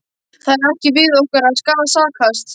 Það er ekki við okkur að sakast.